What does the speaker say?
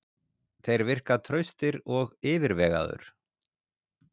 Þeir virka traustir og yfirvegaður.